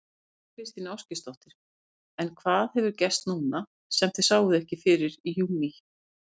Þóra Kristín Ásgeirsdóttir: En hvað hefur gerst núna sem þið sáuð ekki fyrir í júní?